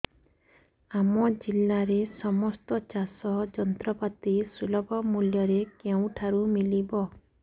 ଆମ ଜିଲ୍ଲାରେ ସମସ୍ତ ଚାଷ ଯନ୍ତ୍ରପାତି ସୁଲଭ ମୁଲ୍ଯରେ କେଉଁଠାରୁ ମିଳିବ